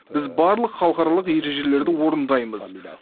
біз барлық халықаралық ережелерді орындаймыз